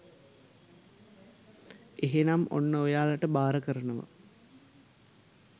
එහෙනම් ඔන්න ඔයාලට බාර කරනවා